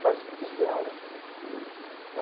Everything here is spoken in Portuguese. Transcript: Faz exposição, né?